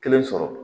Kelen sɔrɔ